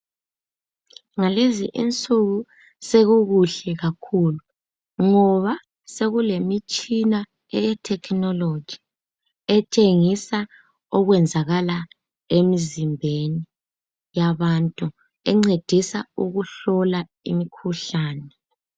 Ngalezi insuku sekukuhle kakhulu ngoba sekulemitshina eyethekhinoloji etshengisa okwenzakala emzimbeni yabantu encedisa ukuhlola imikhuhlane.